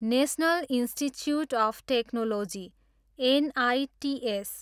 national institutes of technology, NITs